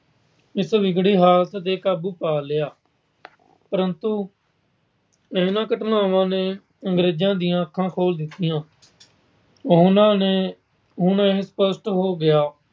ਇਸ ਵਿਗੜੀ ਹਾਲਤ ਤੇ ਕਾਬੂ ਪਾ ਲਿਆ। ਪਰੰਤੂ ਇਹਨਾਂ ਘਟਨਾਵਾਂ ਨੇ ਅੰਗਰੇਜਾਂ ਦੀਆਂ ਅੱਖਾਂ ਖੋਲ੍ਹ ਦਿੱਤੀਆਂ। ਉਹਨਾਂ ਨੂੰ ਇਹ ਸਪਸ਼ਟ ਹੋ ਗਿਆ